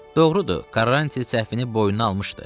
Doğrudur, Karranti səhvini boynuna almışdı.